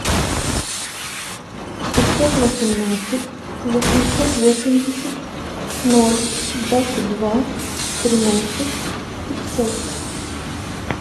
пятьсот восемнадцать восемьсот восемьдесят ноль двадцать два тринадцать пятьсот